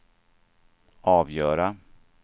avgöra